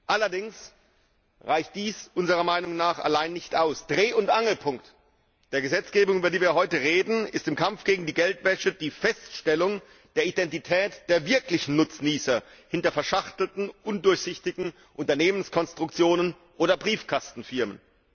Allerdings reicht dies unserer Meinung nach allein nicht aus. Dreh und Angelpunkt der Gesetzgebung, über die wir heute reden, ist im Kampf gegen die Geldwäsche die Feststellung der Identität der wirklichen Nutznießer hinter verschachtelten, undurchsichtigen Unternehmenskonstruktionen oder Briefkastenfirmen.